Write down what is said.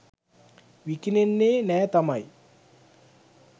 විකිණෙන්නේ නෑ තමයි